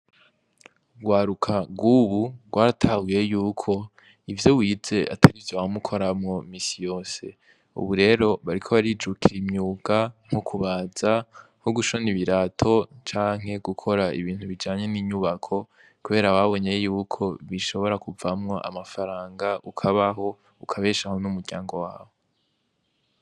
Urwaruka rw'ubu rwaratahuye yuko ivyo wize atarivyo wama ukoramwo imisi yose. Ubu rero bariko barijukira imyuga nko kubaza ,nko gushona ibirato canke gukora ibintu bijanye n'inyumako kubera babonye yuko bishobora kuvamwo amafaranga ukabaho ,ukabeshaho n'umuryango wawe.